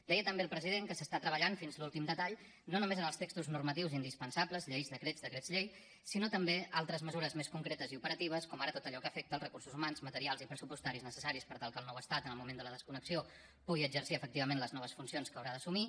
deia també el president que s’està treballant fins a l’últim detall no només els textos normatius indispensables lleis decrets decrets llei sinó també altres mesures més concretes i operatives com ara tot allò que afecta els recursos humans materials i pressupostaris necessaris per tal que el nou estat en el moment de la desconnexió pugui exercir efectivament les noves funcions que haurà d’assumir